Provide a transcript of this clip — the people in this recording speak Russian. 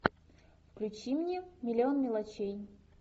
включи мне миллион мелочей